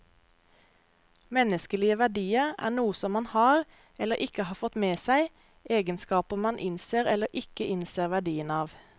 Menneskelige verdier er noe som man har, eller ikke har fått med seg, egenskaper man innser eller ikke innser verdien av.